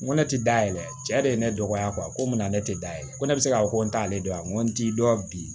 N ko ne tɛ da yɛlɛ cɛ de ye ne dɔgɔya ko n bɛna ne tɛ da yɛrɛ ko ne bɛ se k'a fɔ ko n t'ale dɔn a n t'i dɔn bi